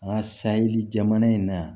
An ka sayi jamana in na yan